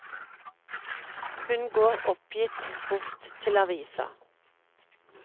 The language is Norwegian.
Hun går oppgitt bort til avisa.